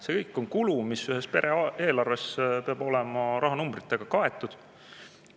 See kõik on kulu, mis ühes pere eelarves peab olema rahanumbritega kaetud.